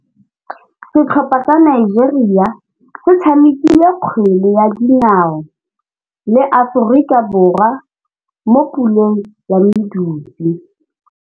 Setlhopha sa Nigeria se tshamekile kgwele ya dinaô le Aforika Borwa mo puleng ya medupe.